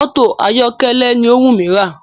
Mọ́tò ayọ̀kẹ́lẹ́ ni ó wù mí rà